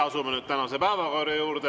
Asume nüüd tänase päevakorra juurde.